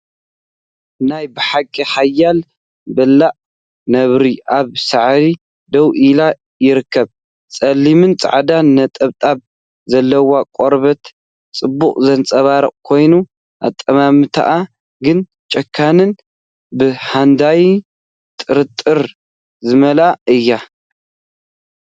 ናይ ብሓቂ ሓያል በላዒ ነብሪ ኣብ ሳዕሪ ደው ኢሉ ይርከብ። ጸሊምን ጻዕዳን ነጠብጣብ ዘለዎ ቆርበታ ጽባቐ ዘንጸባርቕ ኮይኑ፡ ኣጠማምታኣ ግን ጨካንን ብሃዳናይ ጥርጣረ ዝመልአን እዩ።